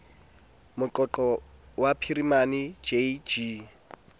meqoqo ya phirimana j g